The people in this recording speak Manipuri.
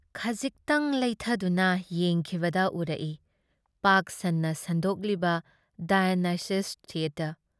ꯈꯖꯤꯛꯇꯪ ꯂꯩꯊꯗꯨꯅ ꯌꯦꯡꯈꯤꯕꯗ ꯎꯔꯛꯏ ꯄꯥꯛ-ꯁꯟꯅ ꯁꯟꯗꯣꯛꯂꯤꯕ ꯗꯥꯏꯑꯣꯅꯤꯁ ꯊꯤꯑꯦꯇꯔ ꯫